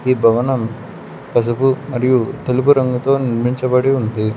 ఈ భవనం పసుపు మరియు తెలుపు రంగుతో నిర్మించబడి ఉంది.